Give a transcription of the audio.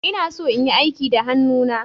Ina so in yi aiki da hannuna.